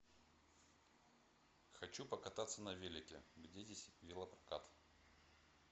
хочу покататься на велике где здесь велопрокат